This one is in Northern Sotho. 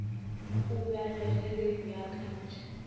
o balwe ge re beakantšha